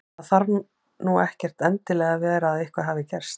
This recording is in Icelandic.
Það þarf nú ekkert endilega að vera að eitthvað hafi gerst.